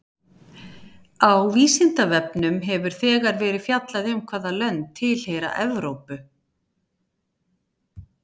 Á Vísindavefnum hefur þegar verið fjallað um hvaða lönd tilheyra Evrópu.